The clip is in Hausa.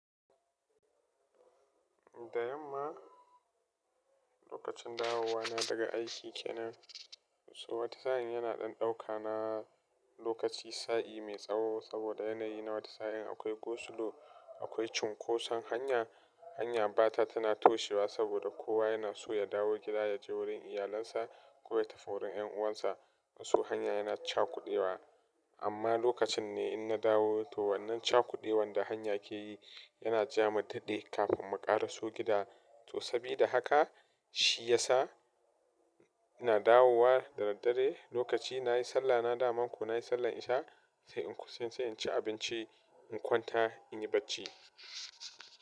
Da yamma lokacin dawowa na daga aiki kenan, to wata sa'in yana ɗan ɗauka na lokaci sa'i mai tsaho saboda yanayi na wata sa'in akwai gosulo, akwai cunkoson hanya, hanya ba ta tana toshewa saboda kowa yana so ya dawo gida ya je wurin iyalinsa ko ya tafi wurin yan uwansa. To hanya yana cakudewa amma lokacin ne in na dawo to wannan cakudewar da hanya ke yi yana ja mu daɗe kafin mu ƙaraso gida. To sabida haka shi yasa ina dawowa da daddare lokaci nayi sallah na dama kuno, nayi sallar isha sai in ci abinci in kwanta in yi bacci.